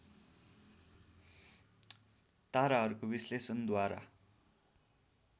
ताराहरूको विश्लेषणद्वारा